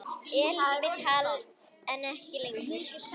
Elísabet Hall: En ekki lengur?